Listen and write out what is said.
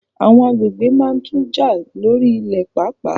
Àwọn agbègbè máa tun jà lórí ilẹ̀ paapaa